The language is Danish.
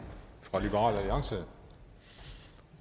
fra liberal alliance